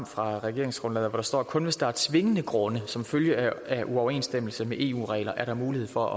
fra regeringsgrundlaget og står kun hvis der er tvingende grunde for eksempel som følge af uoverensstemmelse med eu regler er der mulighed for at